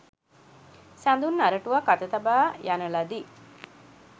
සඳුන් අරටුවක් අත තබා යන ලදී.